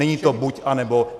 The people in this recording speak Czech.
Není to buď, anebo.